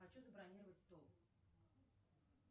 хочу забронировать стол